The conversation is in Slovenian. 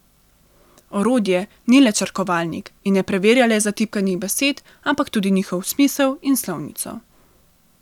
Orodje ni le črkovalnik in ne preverja le zatipkanih besed, ampak tudi njihov smisel in slovnico.